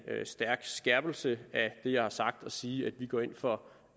stærk skærpelse af det jeg har sagt at sige at vi går ind for